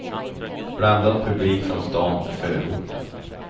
Blandad publik från stan och förorten.